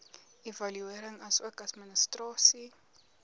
evaluering asook administrasie